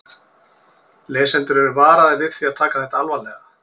Lesendur eru varaðir við því að taka þetta alvarlega.